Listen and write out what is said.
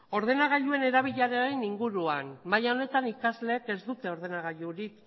ordenagailuen erabileraren inguruan maila honetan ikasleek ez dute ordenagailurik